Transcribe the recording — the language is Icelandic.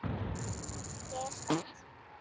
Ég er spennt.